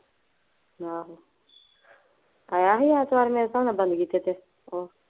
ਆਹੋ ਆਇਆ ਸੀ ਮੇਰੇ ਹਿਸਾਬ ਨਾਲ ਬੰਦ ਕੀਤੇ ਤੇ